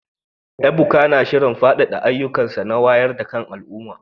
Ebuka na shirin faɗaɗa ayyukansa na wayar da kan al’umma